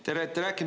Te olete rääkinud …